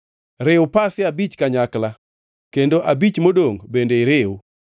Riw pasia abich kanyakla kendo abich modongʼ bende iriw